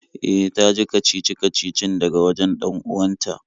E, ta ji kacici-kacicin daga wajen 'dan uwanta